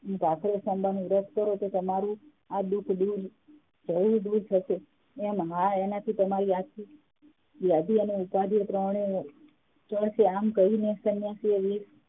નું વ્રત કરો એટલે તમારું આ દુઃખ જરૂર દૂર થશે એમ હા એનાથી તમારી ઉપાધિ ત્રણેય દૂર થશે એમ કહી સન્યાસી એ